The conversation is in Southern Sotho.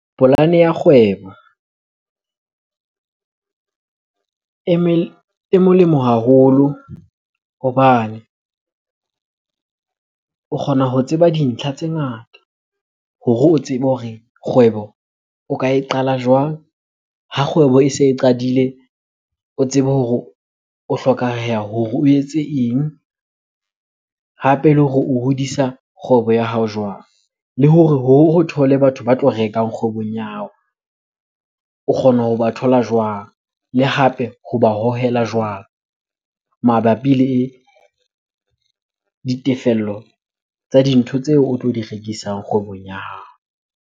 Polane ya kgwebo e molemo haholo hobane o kgona ho tseba dintlha tse ngata hore o tsebe hore kgwebo o ka e qala jwang? Ha kgwebo e se e qadile, o tsebe hore o hore o etse eng? Hape le hore o hodisa kgwebo ya hao jwang? Le hore thole batho ba tlo rekang kgwebong ya hao, o kgona hoba thola jwang? Le hape hoba hohela jwang mabapi le ditefello tsa dintho tseo o tlo di rekisang kgwebong ya hao?